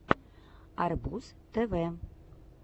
арбуз тв